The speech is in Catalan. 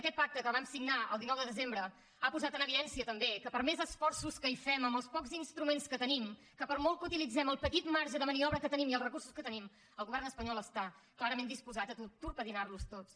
aquest pacte que vam signar el dinou de desembre ha posat en evidència també que per més esforços que fem amb els pocs instruments que tenim que per molt que utilitzem el petit marge de maniobra que tenim i els recursos que tenim el govern espanyol està clarament disposat a torpedinar los tots